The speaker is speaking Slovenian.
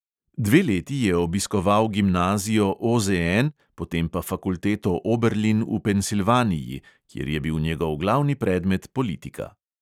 Dve leti je obiskoval gimnazijo OZN, potem pa fakulteto oberlin v pensilvaniji, kjer je bil njegov glavni predmet politika.